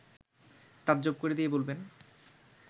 তাজ্জব করে দিয়ে বলবেন